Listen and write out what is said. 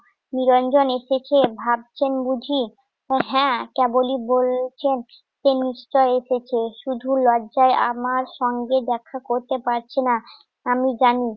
নিরঞ্জন এসেছে, ভাবছেন বুঝি। হ্যাঁ কেবলই বলছেন, সে নিশ্চয়ই এসেছে। শুধু লজ্জায় আমার সঙ্গে দেখা করতে পারছে না, আমি জানি।